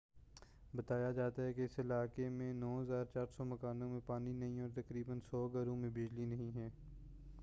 بتایا جاتا ہے کہ اس علاقے میں 9400 مکانوں میں پانی نہیں ہے اور تقریبا 100 گھروں میں بجلی نہیں ہے